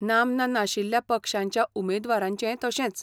नामना नाशिल्ल्या पक्षांच्या उमेदवारांचेंय तशेंच.